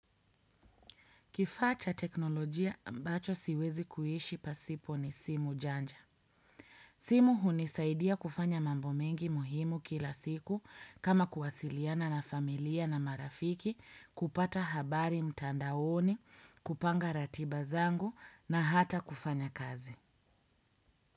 Kifaa cha teknolojia ambacho siwezi kuishi pasipo ni simu janja. Simu hunisaidia kufanya mambo mengi muhimu kila siku kama kuwasiliana na familia na marafiki kupata habari mtandaoni, kupanga ratiba zangu na hata kufanya kazi.